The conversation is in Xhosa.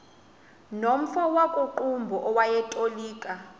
nomfo wakuqumbu owayetolika